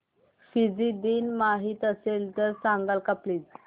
Fiji दिन माहीत असेल तर सांगाल का प्लीज